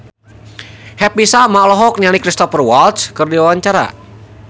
Happy Salma olohok ningali Cristhoper Waltz keur diwawancara